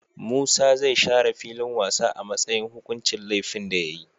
Musa zai share filin wasa a matsayin hukuncin lefin da yayi